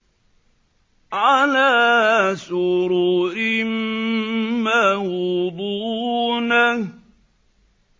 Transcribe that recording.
عَلَىٰ سُرُرٍ مَّوْضُونَةٍ